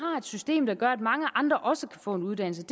system der gør at mange andre også kan få en uddannelse